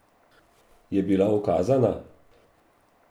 Je bila ukazana?